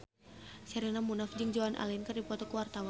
Sherina Munaf jeung Joan Allen keur dipoto ku wartawan